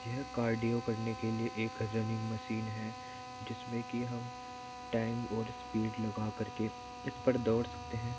यह कार्डियो करने के लिए एक रुन्निंग मशीन है जिसमें की हम टाइम और स्पीड लगा कर के इस पर दौड़ सकते हैं।